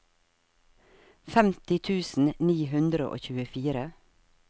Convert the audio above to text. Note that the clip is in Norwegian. femti tusen ni hundre og tjuefire